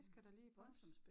Det skal jeg da lige huske